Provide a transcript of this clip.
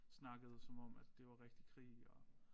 Snakkede som om at det var rigtig krig og